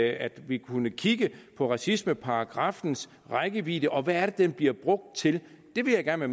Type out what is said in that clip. at vi kunne kigge på racismeparagraffens rækkevidde og hvad det er den bliver brugt til det vil jeg gerne